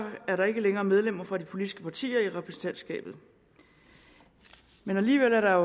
er der ikke længere medlemmer fra de politiske partier i repræsentantskabet men alligevel er der